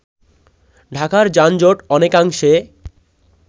ঢাকার যানজট অনেকাংশে